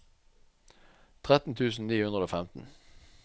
tretten tusen ni hundre og femten